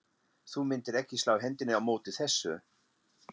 Þú myndir ekki slá hendinni á móti þessu?